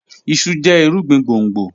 Iṣu jẹ irugbin gbongbo